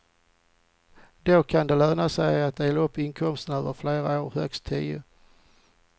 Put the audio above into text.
Då kan det löna sig att dela upp inkomsten över flera år, högst tio.